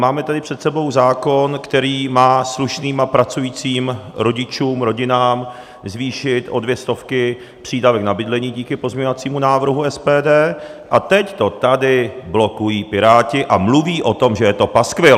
Máme tady před sebou zákon, který má slušným a pracujícím rodičům, rodinám zvýšit o dvě stovky přídavek na bydlení díky pozměňovacímu návrhu SPD, a teď to tady blokují Piráti a mluví o tom, že je to paskvil.